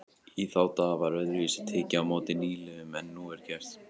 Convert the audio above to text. Í þá daga var öðruvísi tekið á móti nýliðum en nú er gert.